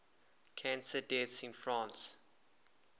cancer deaths in france